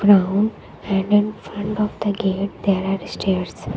ground and in front of the gate there are stairs.